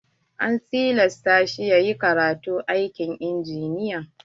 An tilasta shi yayi karatun aikin injiniya.